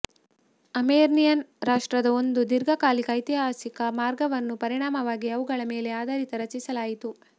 Armenian ರಾಷ್ಟ್ರದ ಒಂದು ದೀರ್ಘಕಾಲಿಕ ಐತಿಹಾಸಿಕ ಮಾರ್ಗವನ್ನು ಪರಿಣಾಮವಾಗಿ ಅವುಗಳ ಮೇಲೆ ಆಧಾರಿತ ರಚಿಸಲಾಯಿತು